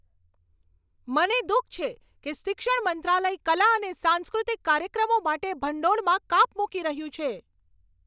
મને દુઃખ છે કે શિક્ષણ મંત્રાલય કલા અને સાંસ્કૃતિક કાર્યક્રમો માટે ભંડોળમાં કાપ મૂકી રહ્યું છે.